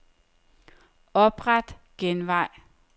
Opret genvej.